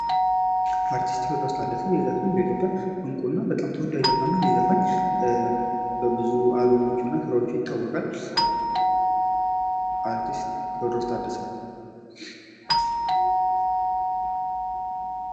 አርቲስት ቴወድሮስ ታደሰ ነው። የሚዘፍን በኢትዮጵያ እንቁና በጣም ተወዳጅ ዘፈን ይህ ዘፈን በብዙ ስራዉቹ ይታወቃል።